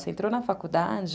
Você entrou na faculdade...